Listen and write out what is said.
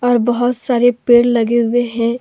और बहोत सारे पेड़ लगे हुए हैं।